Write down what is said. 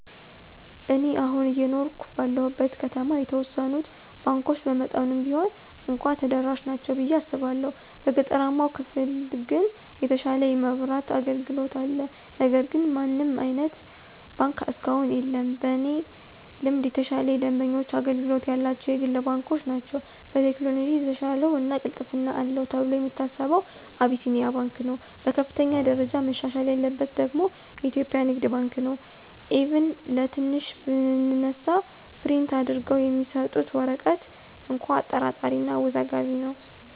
እኔ አሁን አየኖርሁ ባለሁበት ከተማ የተወሰኑት ባንኮች በመጠኑም ቢሆን እንኳ ተደራሽ ናቸው ብየ አስባለሁ። በገጠራማው ክፍል ግን የተሻለ የማብራት አገልግሎት አለ ነገር ግን ምንም አይነት ባንክ እስካሁን የለም። በእኔ ልምድ የተሻለ የደንበኞች አገልግሎት ያላቸው የግል ባንኮች ናቸው። በቴክኖሎጅ የተሻለው እና ቅልጥፍና አለው ተብሎ የሚታሰበው አቢሲንያ ባንክ ነው። በከፍተኛ ደረጃ መሻሻል ያለበት ደግሞ ኢትዮጵያ ንግድ ባንክ ነው፤ ኢቭን ከትንሿ ብንነሳ ፕሪንት አድርገው የሚሰጡት ወረቀት እንኳ አጠራጣሪ እና አወዛጋቢ ነው።